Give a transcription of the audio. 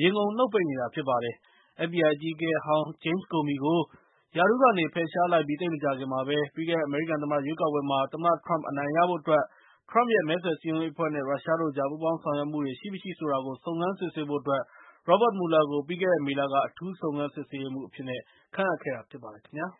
ရေငုံနှုတ်ပိတ်နေတာဖြစ်ပါတယ်။ FBI အကြီးအကဲဟောင်း Jame Comey ကို ရာထူးကနေ ဖယ်ရှားလိုက်ပြီးသိပ်မကြာခင်မှာပဲ၊ ပြီးခဲ့တဲ့ အမေရိကန်သမ္မတရွေးကောက်ပွဲမှာ သမ္မတထရမ့်အနိုင်ရဖို့အတွက် ထရမ့်ရဲ့ မဲဆွယ်စည်းရုံးရေးအဖွဲ့နဲ့ ရုရှားတို့ကြား ပူးပေါင်းဆောင်ရွက်မှုတွေရှိမရှိဆိုတာကို စုံစမ်းစစ်ဆေးဖို့အတွက် Robert Mueller ကို ပြီးခဲ့တဲ့မေလက အထူူးစုံစမ်းစစ်ဆေးရေးမှူး အဖြစ်ခန့်အပ်ခဲ့တာဖြစ်ပါတယ်ခင်ဗျာ။